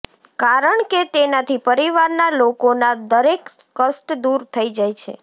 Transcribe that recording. કારણકે તેનાથી પરિવારના લોકોના દરેક કષ્ટ દૂર થઇ જાય છે